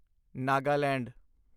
Nagaland